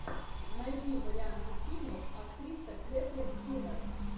найди варианты фильмов актриса кэтрин кинер